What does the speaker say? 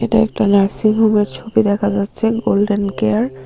এটা একটা নার্সিং হোমের ছবি দেখা যাচ্ছে গোল্ডেন কেয়ার ।